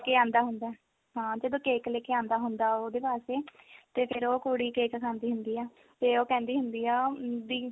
ਲੈ ਕੇ ਆਂਦਾ ਹੁੰਦਾ ਹਾਂ ਜਦੋ cake ਲੈਕੇ ਆਉਂਦਾ ਹੁੰਦਾ ਉਹਦੇ ਵਾਸਤੇ ਤੇ ਫਿਰ ਉਹ ਕੁੜੀ cake ਖਾਂਦੀ ਹੁੰਦੀ ਆ ਤੇ ਉਹ ਕਹਿੰਦੀ ਹੁੰਦੀ ਆ ਵੀ